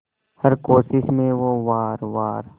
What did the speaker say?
हर कोशिश में हो वार वार